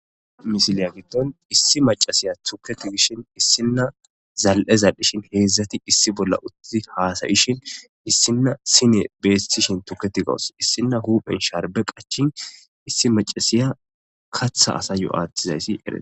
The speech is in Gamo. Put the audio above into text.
Misiliya gitton issi macasiya tuketi gishin issinna zal'eza dhishin heedzdzati issi bolla uttii haasayishin issinna sine beettishin tuketi gawus issinna huphen sharbe qachin issi macasiya katha asa yo'aattizayssi eree.